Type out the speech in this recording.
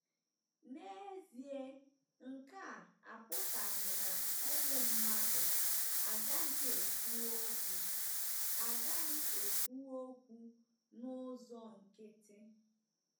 N'ezie, nke a apụtaghị na ụmụ mmadụ agaghị ekwu okwu agaghị ekwu okwu n'ụzọ nkịtị.